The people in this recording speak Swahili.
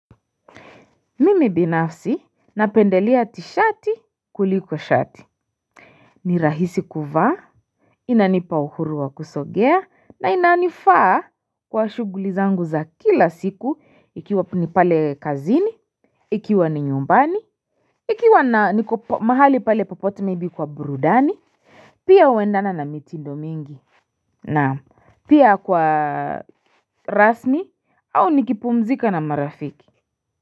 Mimi binafsi napendelea tishati kuliko shati ni rahisi kuvaa inanipa uhuru wa kusogea na inanifaa kwa shughuli zangu za kila siku ikiwa ni pale kazini Ikiwa ni nyumbani Ikiwa niko mahali pale popote maybe kwa burudani Pia uendana na mitindo mingi na pia kwa rasni au nikipumzika na marafiki.